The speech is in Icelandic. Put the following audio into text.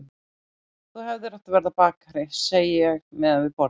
Þú hefðir átt að verða bakari, segi ég meðan við borðum.